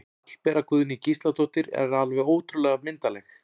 Hallbera Guðný Gísladóttir er alveg ótrúlega myndarleg